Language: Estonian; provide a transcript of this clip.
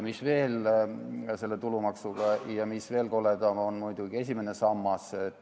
Mis veel selle tulumaksuga on ja mis on veel koledam, see on muidugi esimene sammas.